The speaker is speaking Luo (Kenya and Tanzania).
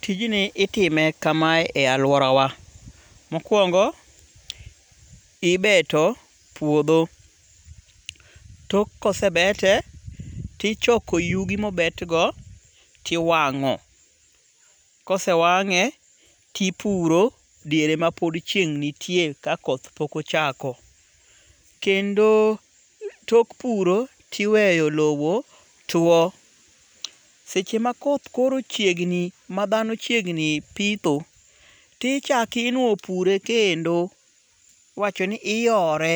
Tijni itime kamae e aluora wa. Mokwongo, ibeto puodho. Tok kosebete, tichoko yugi mobet go tiwang'o. Kosewang'e tipuro diere ma pod chieng' nitie ka koth pok ochako. Kendo tok puro tiweyo lowo tuo. Seche ma koth koro chiegni ma dhano chiegni pitho. Tichak inuo pure kendo. Iwachooni iyore.